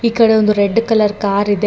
ಈ ಕಡೆ ಒಂದು ರೆಡ್ ಕಲರ್ ಕಾರ್ ಇದೆ ಡ ---